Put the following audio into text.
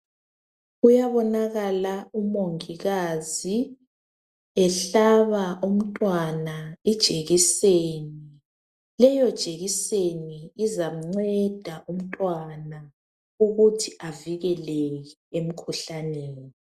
Kuyabonakala umongikazi ehlaba umntwana ijekiseni. Leyo jekiseni izamnceda umntwana ukuthi avikeleke emkhuhlaneni.